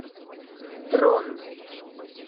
дрон